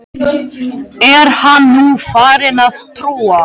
Fyrst mundi hún missa út úr sér augun.